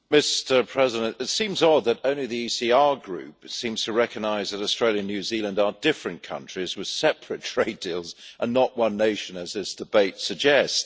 Mr. President, it seems odd that only the ECR Group seems to recognise that Australia and New Zealand are different countries with separate trade deals, and not one nation as this debate suggests.